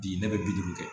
Bi ne bɛ bi duuru kɛ